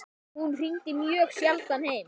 Hún hringdi mjög sjaldan heim.